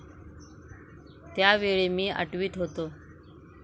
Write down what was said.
त्या वेळी मी आठवीत होतो.